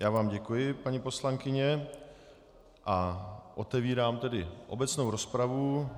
Já vám děkuji, paní poslankyně a otevírám tedy obecnou rozpravu.